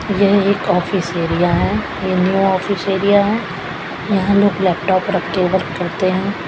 यह एक office area हैं ये न्यू ऑफिस एरिया हैं यहां लोग लैपटॉप रख के वर्क करते हैं।